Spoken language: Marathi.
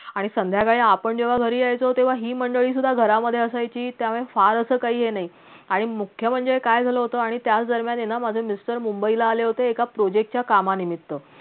आणि संध्याकाळी आपण जेव्हा घरी यायचो तेव्हा ही मंडळी सुद्धा घरामधे असायची त्यावेळेस फार असं काही हे नाही आणि मुख्य म्हणजे काय झालं होतं आणि त्या दरम्यानएना माझे mr मुंबईला आले होते एका project च्या कामा निमित्त